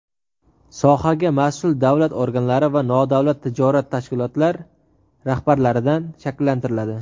sohaga mas’ul davlat organlari va nodavlat notijorat tashkilotlar rahbarlaridan shakllantiriladi.